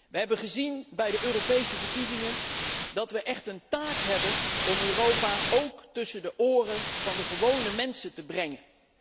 We hebben gezien bij de Europese verkiezingen dat we echt een taak hebben om Europa ook tussen de oren van de gewone mensen te brengen.